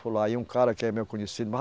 aí, um cara que é meu conhecido.